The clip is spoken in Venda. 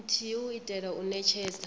nthihi u itela u netshedza